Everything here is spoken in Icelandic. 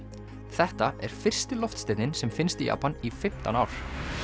þetta er fyrsti loftsteinninn sem finnst í Japan í fimmtán ár